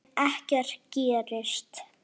En ekkert gerist.